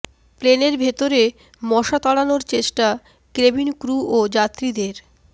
প্লেনের ভেতরে মশা তাড়ানোর চেষ্টা কেবিন ক্রু ও যাত্রীদের